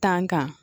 kan